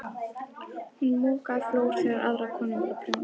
Hún mokaði flór þegar aðrar konur voru að prjóna.